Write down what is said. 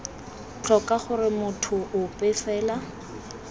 tlhoka gore motho ope fela